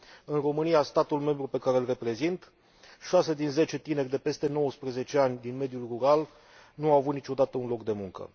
În România, statul membru pe care îl reprezint, 6 din 10 tineri de peste 19 ani din mediul rural nu au avut niciodată un loc de muncă.